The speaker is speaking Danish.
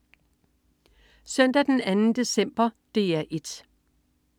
Søndag den 2. december - DR 1: